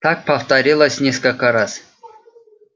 так повторилось несколько раз